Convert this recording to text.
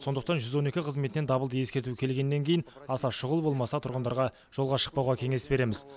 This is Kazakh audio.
сондықтан жүз он екі қызметінен дабылды ескерту келгеннен кейін аса шұғыл болмаса тұрғындарға жолға шықпауға кеңес береміз